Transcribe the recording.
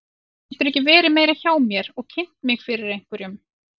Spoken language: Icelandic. Geturðu ekki verið meira hjá mér eða kynnt mig fyrir einhverjum.